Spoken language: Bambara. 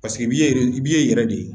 Paseke bi ye yɛrɛ de ye